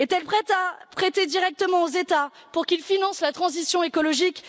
Est elle prête à prêter directement aux États pour qu'ils financent la transition écologique?